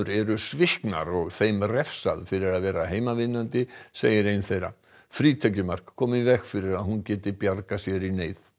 eru sviknar og þeim refsað fyrir að vera heimavinnandi segir ein þeirra frítekjumark komi í veg fyrir að hún geti bjargað sér í neyð